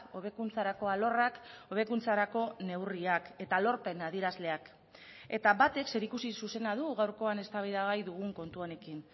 hobekuntzarako alorrak hobekuntzarako neurriak eta lorpen adierazleak eta batek zerikusi zuzena du gaurkoan eztabaidagai dugun kontu honekin